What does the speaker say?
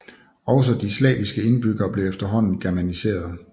Også de slaviske indbyggere blev efterhånden germaniserede